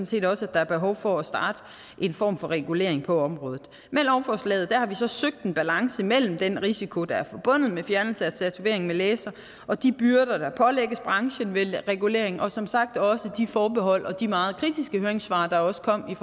set også at der er behov for at starte en form for regulering på området med lovforslaget har vi så søgt en balance mellem den risiko der er forbundet med fjernelse af tatovering med laser og de byrder der pålægges branchen ved reguleringen og som sagt også de forbehold og de meget kritiske høringssvar der også kom i